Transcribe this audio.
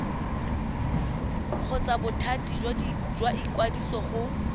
kgotsa bothati jwa ikwadiso go